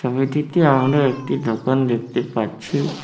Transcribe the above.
ছবিটিতে আমরা একটি দোকান দেখতে পাচ্ছি।